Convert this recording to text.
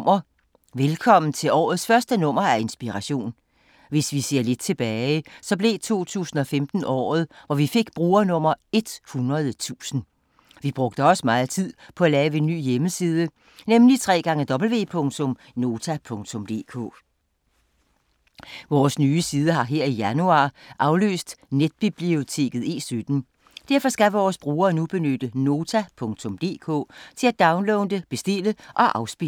Velkommen til årets første nummer af Inspiration.